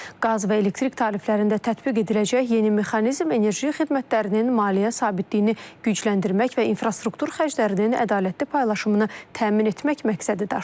Qaz və elektrik tariflərində tətbiq ediləcək yeni mexanizm enerji xidmətlərinin maliyyə sabitliyini gücləndirmək və infrastruktur xərclərinin ədalətli paylaşımını təmin etmək məqsədi daşıyır.